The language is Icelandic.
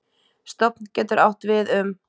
Stofn getur átt við um